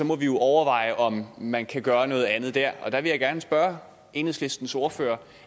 må vi jo overveje om man kan gøre noget andet der og der vil jeg gerne spørge enhedslistens ordfører